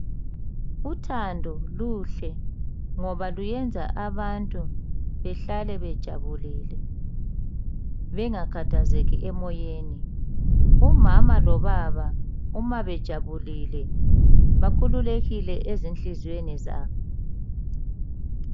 Uthando luhle ngoba luyenza abantu behlale bejabulile bengakhathazeki emoyeni. Umama lobaba uma bejabulile bakhululekile ezinhliziyweni zabo.